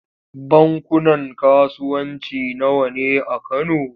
Bankunan kasuwanci nawa ne a Kano?